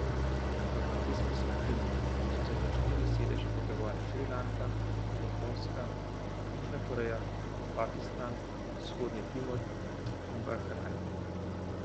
V azijski skupini so se za štiri sedeže potegovale Šrilanka, Japonska, Južna Koreja, Pakistan, Vzhodni Timor in Bahrajn.